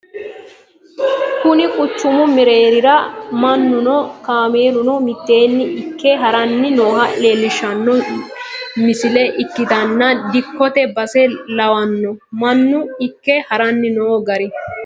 kuni quchumu mereerira mannuno kaameeluno mitteenni ikke haranni nooha leelishshanno nisile ikkitanna dikkote base lawanno mannu ikke haranni noo gar.